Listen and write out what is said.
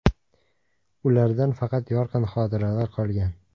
Ulardan faqat yorqin xotiralar qolgan.